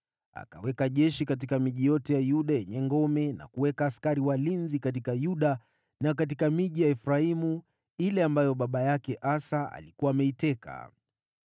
Akaweka jeshi katika miji yote ya Yuda yenye ngome na kuweka askari walinzi katika Yuda na katika miji ya Efraimu ile ambayo baba yake Asa alikuwa ameiteka.